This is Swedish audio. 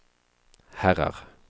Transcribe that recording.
herrar